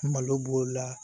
N malo b'o la